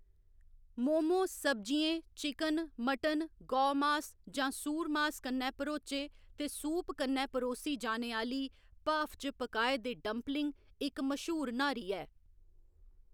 मोमो सब्जियें, chicken, mutton, गौमास जां सूरमास कन्नै भरोचे ते सूप कन्नै परोसी जाने आह्‌ली भाफ च पकाए दे डंपलिंग इक मश्हूर न्हारी ऐ।